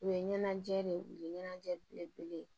U ye ɲɛnajɛ de u ye ɲɛnajɛ belebele ye